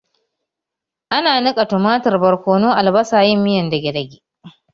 Ana nika tumatir, barkono, albasa, yin miyar dage-dage